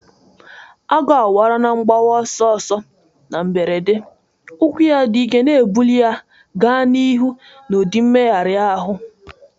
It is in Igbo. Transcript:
Agu awara na mgbawa ọsọ ọsọ na mberede, ụkwụ ya dị ike na-ebuli ya gaa n'ihu n'ụdị mmegharị ahụ.